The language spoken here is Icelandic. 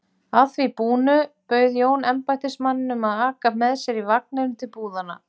Að því búnu bauð Jón embættismanninum að aka með sér í vagninum til búðanna.